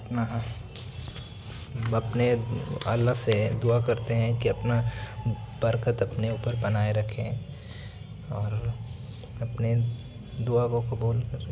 अपने अल्लाह से दुआ करते हैं के अपना बरकत अपने उपर बनाए रखे और अपनी दुआ को कुबूल करे।